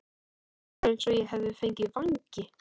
Það var eins og ég hefði fengið vængi.